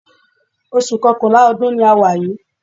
Oṣù Kọkànlá ọdún ni a wà yìí